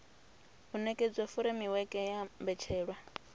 u nekedza furemiweke ya mbetshelwa